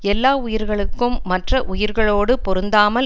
எல்லா உயிர்களுக்கும் மற்ற உயிர்களோடு பொருந்தாமல்